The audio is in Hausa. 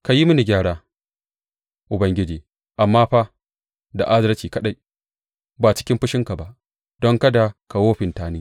Ka yi mini gyara, Ubangiji, amma fa da adalci kaɗai ba cikin fushinka ba, don kada ka wofinta ni.